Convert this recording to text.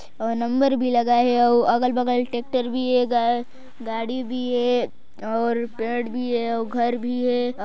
औ नंबर भी लगा है और अगल बगल ट्रेक्टर भी हे गाड़ी भी हे और पेड़ भी हे घर भी हे।